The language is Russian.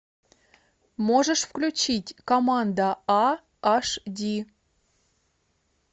можешь включить команда а аш ди